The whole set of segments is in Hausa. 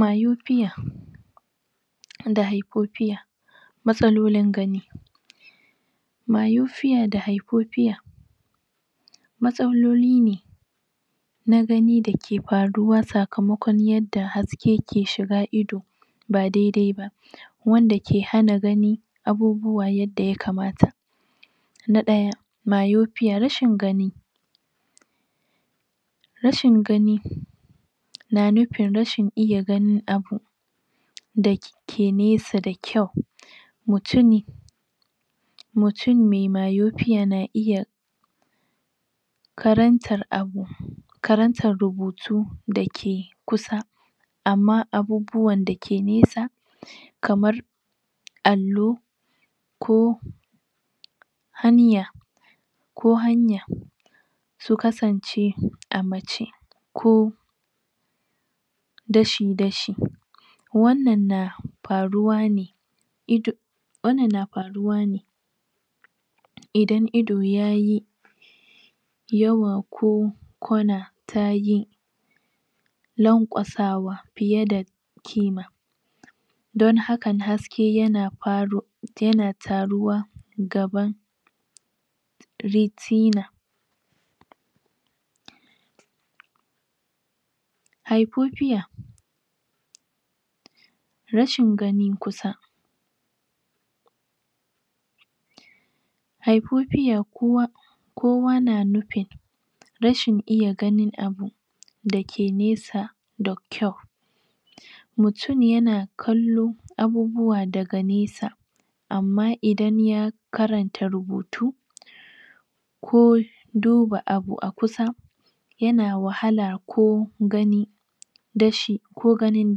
Mayufiya da haifofiya matsalolin gani mayu fiya da haifofiya matsaloline na gani dake faruwa sakamakon yadda has ke ke shiga ido ba dedaiba wand ake hana gani abubuwa yadda yakamata na ɗaya mayofiya rashin gani rashin gani na nufin rashin iya ganin abu da ke nesa da kyau mutuni mutun me mayofiya na iya karantar abu karantan rubutu dake kusa amma abubuwan da ke nesa kamar allo ko aniya ko hanya to kasance amace ko dashi dashi wannan na faruwane ido wannan na faruwa ne idan ido yayi yawa ko kwana tayi lan ƙwasawa fiyada kima don hakan has ke yana faro yana taruwa gaban ritina haifofiya rashin gani kusa haifofiya kowa kowa na nufin rashin iya ganin abu dake nesa da kyau mutun yana kallo abubuwa daga nesa amma idan ya karanta rubutu ko duba abu akusa yana wahala ko gani dashi ko ganin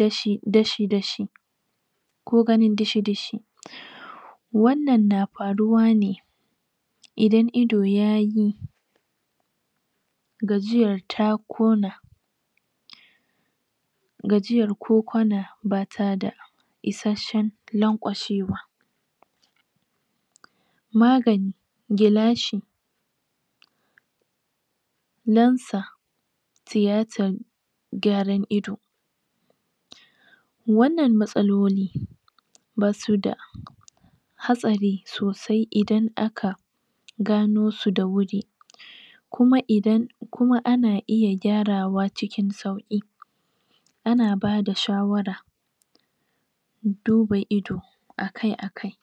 dashi dashi ko ganin dishi dishi wannan na faruwane idan ido yayi gajiyar ta kona gajiyar ko kwana batada isashen laƙwashe wa magani gilashi lansa tiyatan gyaran ido wannan matsaloli basuda hatsari to se idan aka ganosu da wuri kuma idan kuma ana iya gyarawa acikin sauki ana bada shawara duba ido akai akai